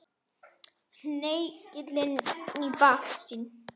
Hengill í baksýn.